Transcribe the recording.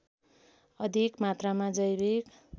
अधिक मात्रामा जैविक